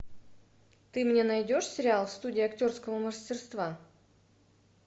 ты мне найдешь сериал студия актерского мастерства